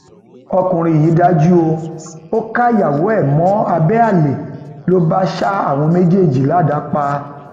ọkùnrin yìí dájú o ò káyàwó ẹ mọ abẹ àlè ló bá ṣa àwọn méjèèjì ládàá pa